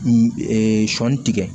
Ee sɔɔni tigɛ